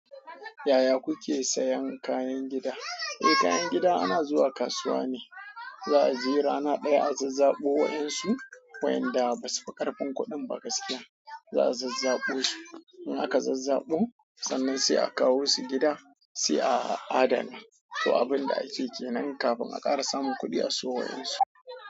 Yaya kuke sayan kayan gida? Eh, kayan gida ana zuwa kasuwa ne, za a je rana ɗaya a zazzabo wa'yansu, wayanda basu fi ƙarfin kuɗin ba gaskiya, za a zazzabo su. In aka zazzabo sannan sai a kawo su gida sai a adana. To abin da ake ke nan kafin akara sa min kuɗi a siyo wa'yansu.